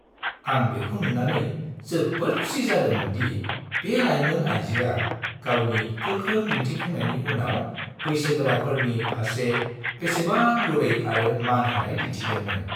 आं बेखौ नुनानै जोबोद खुसि जादोंमोन दि बे लाइमोन आयजोआ गावनि गोख्रों दिन्थिफुंनायनि उनाव बैसोगोराफोरनि फारसे बेसेबां गुरै आरो मान होनाय दिन्थिदोंमोन।